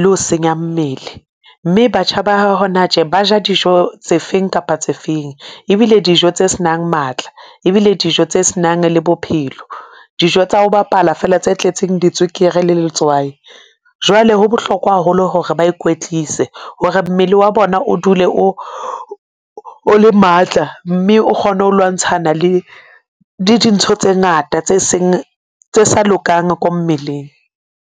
le ho senya mmele, mme batjha ba hona tje. Ba ja dijo tse feng kapa tse feng. Ebile dijo tse s'nang matla, ebile dijo tse s'nang le bophelo dijo tsa ho bapala fela tse tletseng ditswekere le letswai. Jwale ho bohlokwa haholo hore ba ikwetlise hore mmele wa bona o dule o le matla mme o kgone ho lwantshana le dintho tse ngata tse seng, tse sa lokang ko mmeleng.